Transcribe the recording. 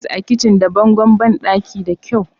sa ta'is a kicin da bangon bandaki da kyau